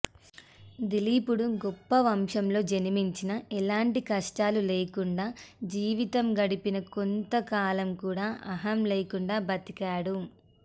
దిలీపుడు గొప్ప వంశంలో జన్మించినా ఎలాంటి కష్టాలు లేకుండా జీవితం గడిపినా కొంత కూడా అహం లేకుండా బతికాడు